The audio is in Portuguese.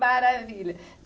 Maravilha.